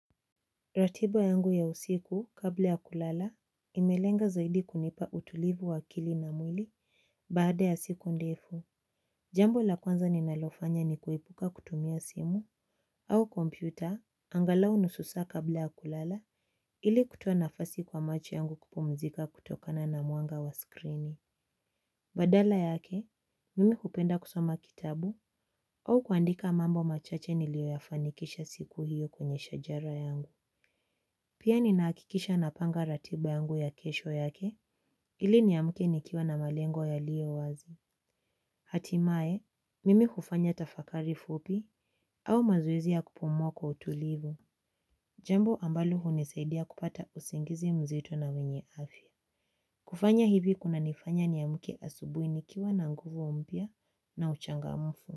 Ratiba yangu ya usiku kabla ya kulala, imelenga zaidi kunipa utulivu wa akili na mwili baada ya siku ndefu. Jambo la kwanza ninalofanya ni kuepuka kutumia simu au kompyuta angalau nusu saa kabla ya kulala ili kutoa nafasi kwa macho yangu kupumzika kutokana na mwanga wa skrini. Badala yake, mimi hupenda kusoma kitabu au kuandika mambo machache niliyo yafanikisha siku hiyo kwenye shajara yangu. Pia ninahakikisha na panga ratiba yangu ya kesho yake ili niamuke nikiwa na malengo yaliyo wazi. Hatimae, mimi hufanya tafakari fupi au mazoezi ya kupuma kwa utulivu. Jambo ambalo hunisaidia kupata usingizi mzito na wenye afya. Kufanya hivi kunanifanya niamuke asubuhi nikiwa na nguvu mpya na uchangamfu.